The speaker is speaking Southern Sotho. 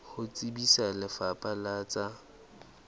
ho tsebisa lefapha la tsa